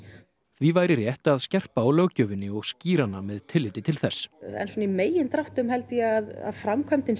því væri rétt að skerpa á löggjöfinni og skýra hana með tilliti til þess en svona í megindráttum held ég að framkvæmdin